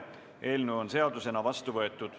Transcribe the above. Eelnõu on seadusena vastu võetud.